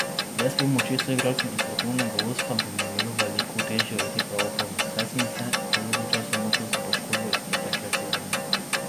Brez pomoči soigralcev in strokovnega vodstva bi mi bilo veliko težje ujeti pravo formo, saj sem se dolgo časa mučil s poškodbo iz pretekle sezone.